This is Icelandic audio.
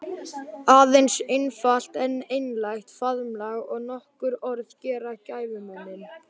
Aðeins einfalt en einlægt faðmlag og nokkur orð gera gæfumuninn.